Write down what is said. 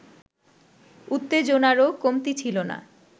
উত্তেজনারও কমতি ছিল না